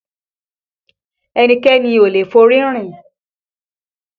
Ẹnikẹ́ni ò lè forí rìn